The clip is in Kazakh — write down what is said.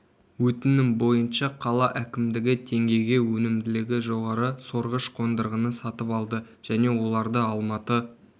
өтінім бойынша қала әкімдігі теңгеге өнімділігі жоғары сорғыш қондырғыны сатып алды және оларды алматы